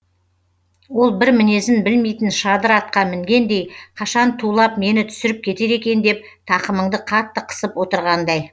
ол бір мінезін білмейтін шадыр атқа мінгендей қашан тулап мені түсіріп кетер екен деп тақымыңды қатты қысып отырғандай